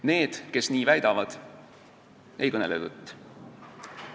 Need, kes nii väidavad, ei kõnele tõtt.